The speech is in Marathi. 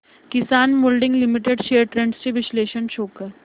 किसान मोल्डिंग लिमिटेड शेअर्स ट्रेंड्स चे विश्लेषण शो कर